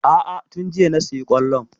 A'a tun jiya na sayi kwallon.